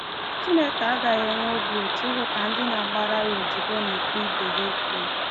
Chineke agaghị enwe obi ụtọ ịhụ ka ndị na-agbara ya odibo na-ekpe ibe ha ikpe.